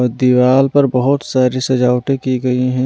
और दीवाल पर बहुत सारी सजावटें की गई हैं।